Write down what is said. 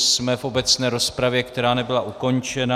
Jsme v obecné rozpravě, která nebyla ukončena.